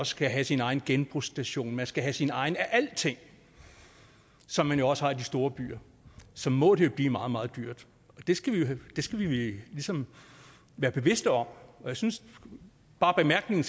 skal have sin egen genbrugsstation man skal have sin egen af alting som man jo også har i de store byer så må det blive meget meget dyrt og det skal vi skal vi ligesom være bevidste om jeg synes bare bemærkningen